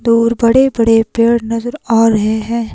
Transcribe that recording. दूर बड़े बड़े पेड़ नजर आ रहे हैं।